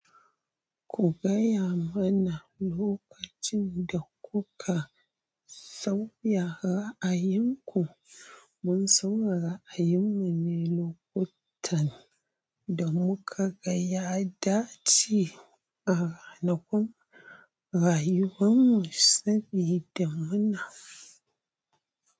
Ku gaya mana lokacin da kuka sauya ra'ayinku. Mun sauya ra'ayinmu ne lokutan da muka ga ya dace a ranakun rayuwar mu sabida muna.